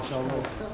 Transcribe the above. Maşallah.